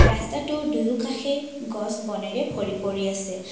ৰাস্তাটোৰ দুয়োকাষে গছ বনেৰে ভৰি পৰি আছে।